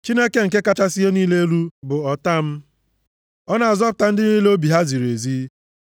Chineke nke kachasị ihe niile elu, bụ ọta + 7:10 Maọbụ, Onyenwe m m, ọ na-azọpụta ndị niile obi ha ziri ezi.